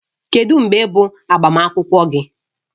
Kedu mgbe bụ agbamakwụkwọ gị?